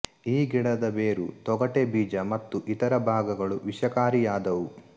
ಈ ಗಿಡದ ಬೇರು ತೊಗಟೆ ಬೀಜ ಮತ್ತು ಇತರ ಭಾಗಗಳೂ ವಿಷಕಾರಿಯಾದವು